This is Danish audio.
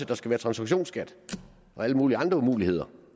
der skal være transaktionsskat og alle mulige andre umuligheder